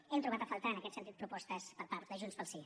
hem trobat a faltar en aquest sentit propostes per part de junts pel sí